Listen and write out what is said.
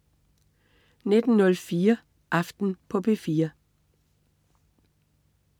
19.04 Aften på P4